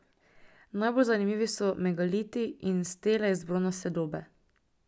Najbolj zanimivi so megaliti in stele iz bronaste dobe.